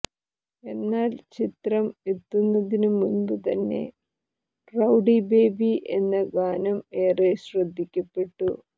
എന്നാൽ ചിത്രം എത്തുന്നതിനു മുൻപു തന്നെ റൌഡി ബേബി എന്ന ഗാനം ഏറെ ശ്രദ്ധിക്കപ്പെട്ടു